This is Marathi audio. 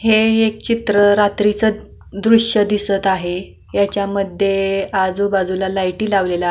हे एक चित्र रात्रीच दृश्य दिसत आहे ह्यांच्यामध्ये आजूबाजूला लाईटी लावलेल्या --